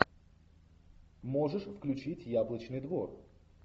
можешь включить яблочный двор